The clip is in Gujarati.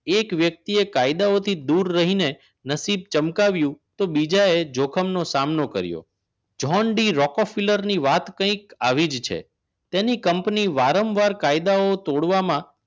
એક વ્યક્તિએ કાયદાઓથી દૂર રહીને નસીબ ચમકાવ્યું તો બીજા એ જોખમ નો સામનો કર્યો જ્હોન ડી રોકકૂપ ફિલર ની વાત કઈ આવી જ છે તેને કંપની વારંવાર કાયદાઓ તોડવામાં